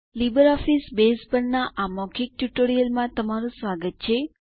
LibreOffice Base પરના આ મૌખિક ટ્યુટોરીયલમાં તમારું સ્વાગત છે